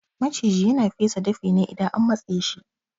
Maciji yana fesa dafi ne idan an matseshi